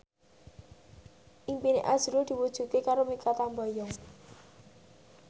impine azrul diwujudke karo Mikha Tambayong